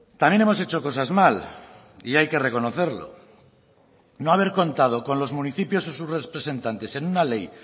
también hemos hecho cosas mal y hay que reconocerlo no haber contado con los municipios y sus representantes en una ley